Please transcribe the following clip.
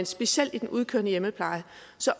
specielt i den udkørende hjemmepleje